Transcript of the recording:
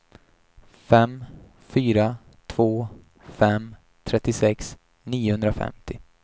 fem fyra två fem trettiosex niohundrafemtio